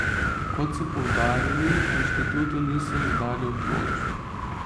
Kot so poudarili, inštitutu niso izdali odločb.